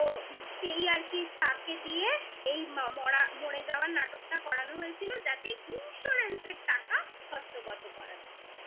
সেই আর এই আর কি তাকে দিয়ে এই মরা মরে যাওয়ার নাটকটা করানো হয়েছিল যাতে insurance -এর টাকা হস্তগত করা যায়